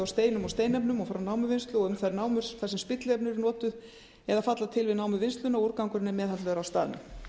steinum og steinefnum og frá námuvinnslu og um þær námur þar sem spilliefni eru notuð eða falla til við námuvinnsluna og úrgangurinn er meðhöndlaður á staðnum